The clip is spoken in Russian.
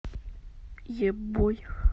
е бой